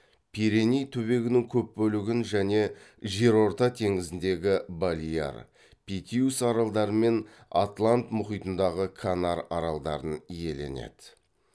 пиреней түбегінің көп бөлігін және жерорта теңізіндегі балеар питиус аралдары мен атлант мұхитындағы канар аралдарын иеленеді